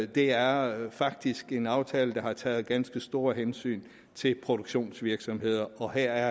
det er faktisk en aftale der har taget ganske store hensyn til produktionsvirksomheder og her